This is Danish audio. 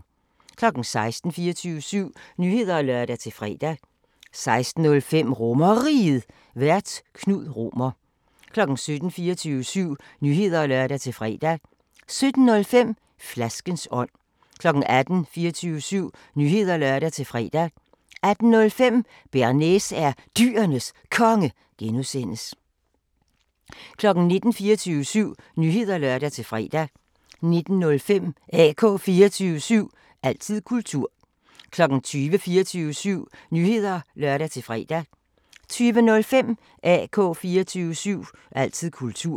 16:00: 24syv Nyheder (lør-fre) 16:05: RomerRiget, Vært: Knud Romer 17:00: 24syv Nyheder (lør-fre) 17:05: Flaskens ånd 18:00: 24syv Nyheder (lør-fre) 18:05: Bearnaise er Dyrenes Konge (G) 19:00: 24syv Nyheder (lør-fre) 19:05: AK 24syv – altid kultur 20:00: 24syv Nyheder (lør-fre) 20:05: AK 24syv – altid kultur